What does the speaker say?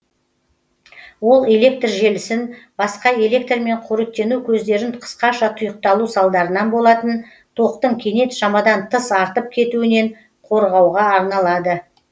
ол электр желісін басқа электрмен қоректену көздерін қысқаша тұйықталу салдарынан болатын токтың кенет шамадан тыс артып кетуінен қорғауға арналады